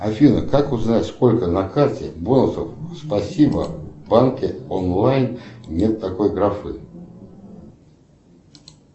афина как узнать сколько на карте бонусов спасибо в банке онлайн нет такой графы